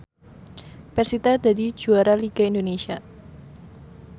persita dadi juara liga Indonesia